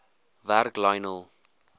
werk lionel